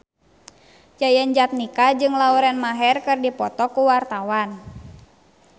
Yayan Jatnika jeung Lauren Maher keur dipoto ku wartawan